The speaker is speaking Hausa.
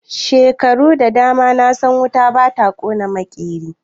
Shekaru da dama na san wuta ba ta kona maƙeri.